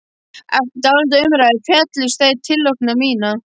Eftir dálitlar umræður féllust þeir á tillögu mína.